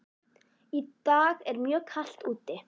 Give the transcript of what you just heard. Í dag er mjög kalt úti.